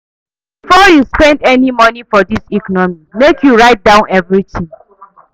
Before you spend any moni for dis economy, make you write down everytin.